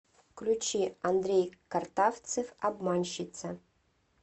включи андрей картавцев обманщица